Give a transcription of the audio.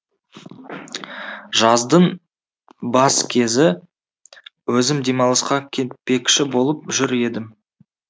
жаздың бас кезі өзім демалысқа кетпекші болып жүр едім